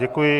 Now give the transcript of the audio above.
Děkuji.